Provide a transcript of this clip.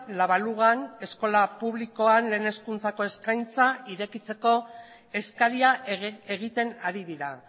la balugan eskola publikoan lehen hezkuntzako eskaintza irekitzeko eskaria egiten ari dira